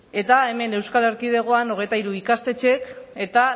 eta hemen euskal erkidegoan hogeita hiru ikastetxek eta